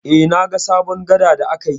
Eh, na ga sabon gada da aka yi.